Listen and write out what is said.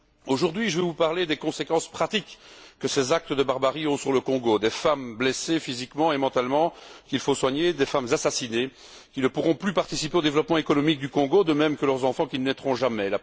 Aujourd'hui, je vais vous parler des conséquences pratiques que ces actes de barbarie ont sur le Congo, des femmes blessées physiquement et mentalement, qu'il faut soigner, des femmes assassinées, qui ne pourront plus participer au développement économique du Congo, de même que leurs enfants qui ne naîtront jamais.